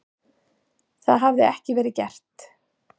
Það hefði ekki verið gert.